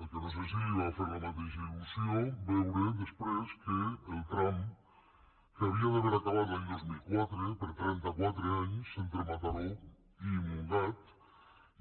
el que no sé és si li va fer la mateixa ilque havia d’haver acabat l’any dos mil quatre per trenta quatre anys entre mataró i montgat